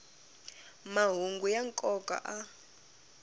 mahungu ya nkoka a